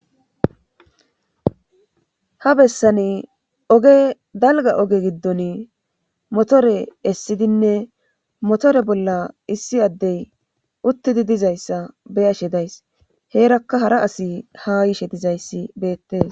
ha bessani oge dalgga oge giddoni motore essidinne motore bolla issi addey uttidi dizayssa be7ashe days;heerakka hara asi haa yishe dizayssi beettes.